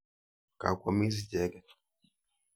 Ga kwamis icheket.